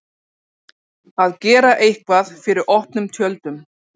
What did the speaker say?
Að gera eitthvað fyrir opnum tjöldum